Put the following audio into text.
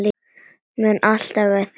Mun alltaf eiga þau ein.